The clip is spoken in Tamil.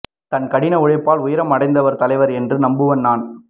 தன் கடின உழைப்பால் உயரம் அடந்தவர் தலைவர் என்று நம்புபவன் நான்